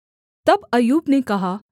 तब अय्यूब ने कहा